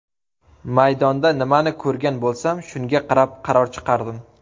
Maydonda nimani ko‘rgan bo‘lsam, shunga qarab qaror chiqardim.